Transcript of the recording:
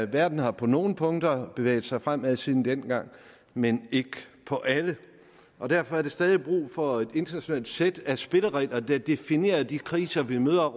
verden har på nogle punkter bevæget sig fremad siden dengang men ikke på alle og derfor er der stadig brug for et internationalt sæt af spilleregler der definerer de kriser vi møder